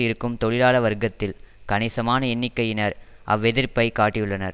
இருக்கும் தொழிலாள வர்க்கத்தில் கணிசமான எண்ணிக்கையினர் அவ்வெதிர்ப்பை காட்டியுள்ளனர்